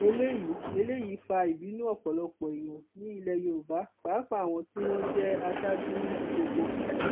eléyìí eléyìí fa ìbínú ọpọlọpọ èèyàn ní ilẹ yorùbá pàápàá àwọn tí wọn jẹ aṣáájú níbi gbogbo